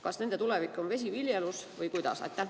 Kas nende tulevik on vesiviljelus või kuidas?